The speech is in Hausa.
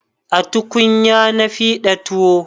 A tukunya na fiɗa tuwo